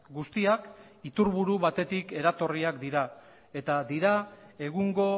guztiak iturburu batetik eratorriak dira eta dira egungo